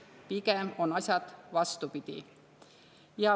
Pigem on asjad vastupidi.